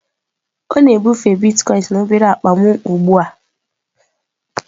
Ọ na-ebufe Bitkoinsị na obere akpa m ugbu a.